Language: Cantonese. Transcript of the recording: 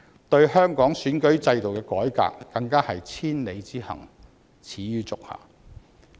對香港選舉制度的改革，更是千里之行，始於足下。